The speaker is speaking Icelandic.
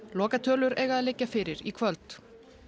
lokatölur eiga að liggja fyrir í kvöld